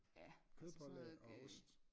Ja altså sådan noget